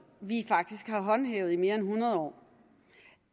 vi faktisk har håndhævet i mere end hundrede år